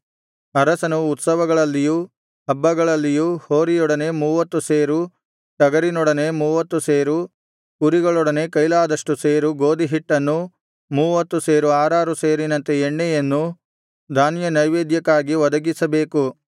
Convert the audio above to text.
ಅರಸನು ಉತ್ಸವಗಳಲ್ಲಿಯೂ ಹಬ್ಬಗಳಲ್ಲಿಯೂ ಹೋರಿಯೊಡನೆ ಮೂವತ್ತು ಸೇರು ಟಗರಿನೊಡನೆ ಮೂವತ್ತು ಸೇರು ಕುರಿಗಳೊಡನೆ ಕೈಲಾದ್ದಷ್ಟು ಸೇರು ಗೋದಿಹಿಟ್ಟನ್ನೂ ಮೂವತ್ತು ಸೇರಿಗೆ ಆರಾರು ಸೇರಿನಂತೆ ಎಣ್ಣೆಯನ್ನೂ ಧಾನ್ಯನೈವೇದ್ಯಕ್ಕಾಗಿ ಒದಗಿಸಬೇಕು